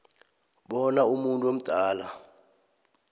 bona umuntu omdala